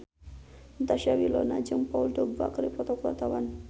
Natasha Wilona jeung Paul Dogba keur dipoto ku wartawan